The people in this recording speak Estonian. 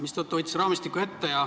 Seetõttu võtsin raamistiku ette.